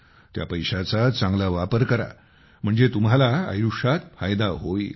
त्या पैशाचा चांगला वापर करा म्हणजे तुम्हाला आयुष्यात फायदा होईल